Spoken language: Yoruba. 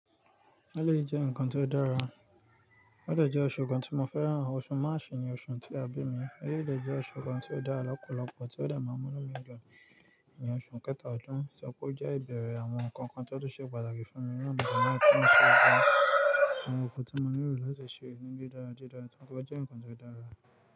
Ẹ̀lẹ̀yi jẹ́ nǹkan tí ó dára, odẹ̀ jẹ́ oṣe kan tí mo fẹ́ràn. Oṣù Máàsù ni oṣù tí a bí mi, ọjọ́ ẹ̀dẹ̀ jẹ́ oṣù kan tí ó dára lọ́pọ̀lọpọ̀, tí ó dààmú lọ́wọ́ mi nínú oṣù kẹta ọdún, sọ pé ó jẹ́ ìbẹ̀rẹ̀ àwọn nǹkan kan tí ó ṣe pàtàkì fún mi, àwọn nǹkan tí ó ṣe é máa gbọn, àwọn nǹkan tí mo nílò láti ṣe ìrìnde dáradára, sọ pé ó jẹ́ nǹkan tí ó dára.